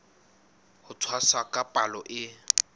ho tshwasa ka palo e